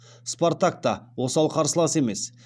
спартак та осал қарсылас емес